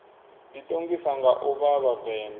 ḓiṱongisa nga u vha vhavenḓa